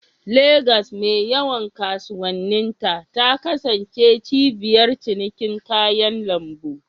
Legas, mai yawan kasuwanninta, ta kasance cibiyar cinikin kayan lambu.